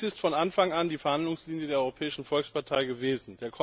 Dies ist von Anfang an die Verhandlungslinie der Europäischen Volkspartei gewesen.